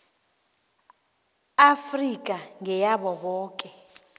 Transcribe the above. afrika ngeyabo boke